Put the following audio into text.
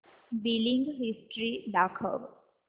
billing history दाखव